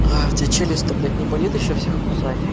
а у тебя челюсть то блять не болит ещё всех кусать